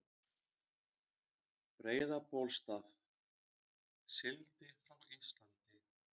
Breiðabólsstað, sigldi frá Íslandi.